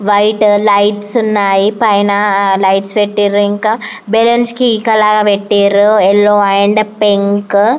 white lights ఉన్నాయి పైన lights పెట్టినారు ఇంక బల్లూన్స్ కి ఈ కలర్ పెట్టినారు యెల్లో అండ్ పింక్ --